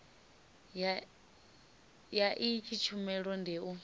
ya iyi tshumelo ndi u